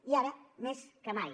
i ara més que mai